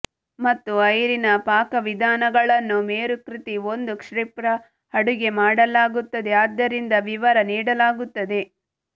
ಮತ್ತು ಐರಿನಾ ಪಾಕವಿಧಾನಗಳನ್ನು ಮೇರುಕೃತಿ ಒಂದು ಕ್ಷಿಪ್ರ ಅಡುಗೆ ಮಾಡಲಾಗುತ್ತದೆ ಆದ್ದರಿಂದ ವಿವರ ನೀಡಲಾಗುತ್ತದೆ